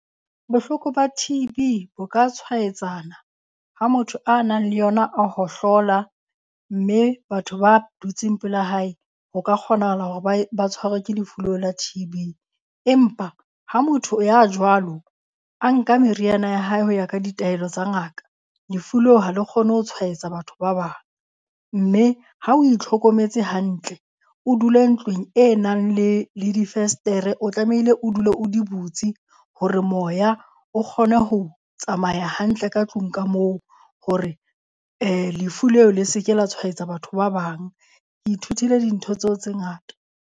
Bohloko ba T_B bo ka tshwaetswana ha motho a nang le yona a hohlola mme batho ba dutseng pela hae ho ka kgonahala hore bae ba tshwarwa ke lefu leo la T_B. Empa ha motho ya jwalo a nka meriana ya hae ho ya ka ditaelo tsa ngaka lefu leo ha le kgone ho tshwaetsa batho ba bang, mme ha o itlhokometse hantle, o dule ntlong e nang le le difesetere, o tlamehile o dule o di butse hore moya o kgone ho tsamaya hantle ka tlung ka moo hore lefu leo le se ke la tshwaetsa batho ba bang. Ke ithutile dintho tseo tse ngata.